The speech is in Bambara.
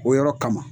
O yɔrɔ kama